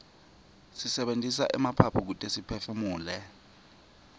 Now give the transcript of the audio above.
sisebentisa emaphaphu kute siphefumule